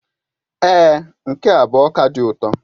Èé, nke a bụ ọka dị ụtọ.